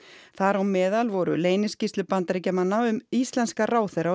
þar á meðal voru leyniskýrslur Bandaríkjamanna um um íslenska ráðherra og